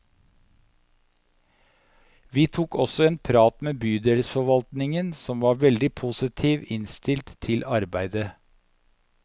Vi tok også en prat med bydelsforvaltningen, som var veldig positivt innstilt til arbeidet.